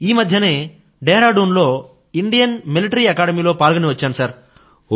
నేను ఈమధ్యనే డేహ్రాడూన్ లోని ఇండియన్ మిలిటరీ అకాడమీ లో పాల్గొని వచ్చాను సర్